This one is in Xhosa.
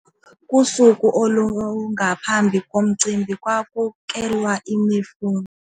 Kusuku olungaphambi komcimbi kwakukelwa imifuno.